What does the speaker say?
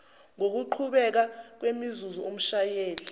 ngokuqhubeka kwemizuzu umshayeli